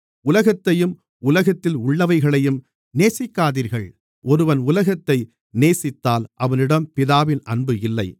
உலகத்தையும் உலகத்தில் உள்ளவைகளையும் நேசிக்காதீர்கள் ஒருவன் உலகத்தை நேசித்தால் அவனிடம் பிதாவின் அன்பு இல்லை